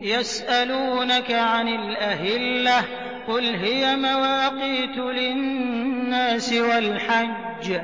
۞ يَسْأَلُونَكَ عَنِ الْأَهِلَّةِ ۖ قُلْ هِيَ مَوَاقِيتُ لِلنَّاسِ وَالْحَجِّ ۗ